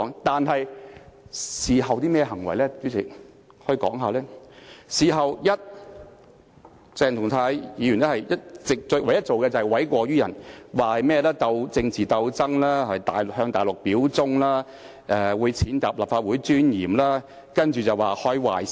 但是，鄭松泰議員事後唯一做過的事情，就是諉過於人，反指這是一場政治鬥爭，更指控其他議員向大陸表忠，踐踏立法會的尊嚴，更表示會開壞先例。